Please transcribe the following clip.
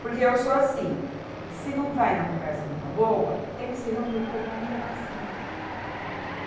Porque eu sou assim, se não vai na conversa numa boa, tem que se reunir o povão e levar sim.